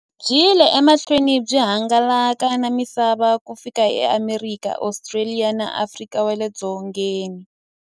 Byi yile emahlweni byi hangalaka na misava ku fika e Amerika, Ostraliya na Afrika wale dzongeni.